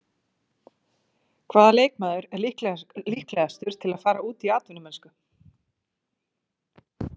Hvaða leikmaður er líklegastur til að fara út í atvinnumennsku?